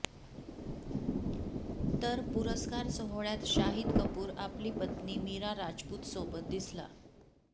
तर पुरस्कार सोहळ्यात शाहीद कपूर आपली पत्नी मीरा राजपूतसोबत दिसला